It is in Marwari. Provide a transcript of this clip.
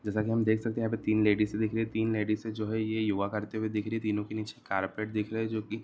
जैसा की हम देख सकते है तीन लेडीज दिख रही है तीन लेडीज जो ये हैं योगा करती हुई दिख रही है तीनो के निचे कारपेट दिख रहा है जो की --